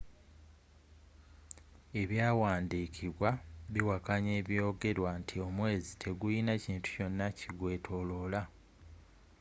ebyawandikibwa biwakanya ebyogerwa nti omwezi tegulina kintu kyona ki gweetooloola